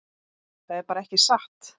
Það er bara ekki satt.